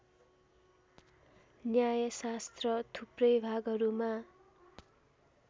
न्यायशास्त्र थुप्रै भागहरूमा